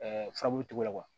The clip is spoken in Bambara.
faabu la